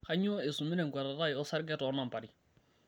Kainyoo eisumita enkuatata ai osarge too nambari?